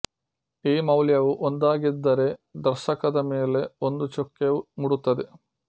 ಈ ಮೌಲ್ಯವು ಒಂದಾಗಿದ್ದರೆ ದರ್ಶಕದ ಮೇಲೆ ಒಂದು ಚುಕ್ಕೆಯು ಮೂಡುತ್ತದೆ